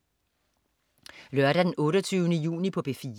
Lørdag den 28. juni - P4: